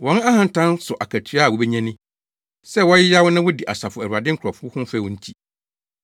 Wɔn ahantan so akatua a wobenya ni, sɛ wɔyeyaw na wodi Asafo Awurade nkurɔfo ho fɛw nti.